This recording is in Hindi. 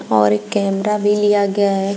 और एक कैमरा भी लिया गया है।